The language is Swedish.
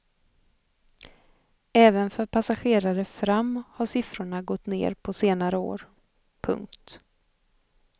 Även för passagerare fram har siffrorna gått ner på senare år. punkt